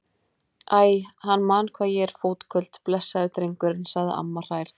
Æ, hann man hvað ég er fótköld, blessaður drengurinn sagði amma hrærð.